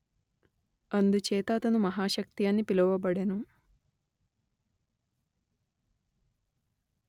అందుచేత అతను మహాశక్తి అని పిలువబడెను